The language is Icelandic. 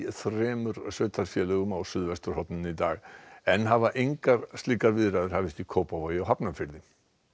þremur sveitarfélögum á suðvesturhorninu í dag enn hafa engar slíkar viðræður hafist í Kópavogi og Hafnarfirði